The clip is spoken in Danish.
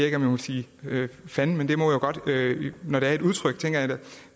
jeg må sige fanden men det må jeg godt når det er et udtryk tænker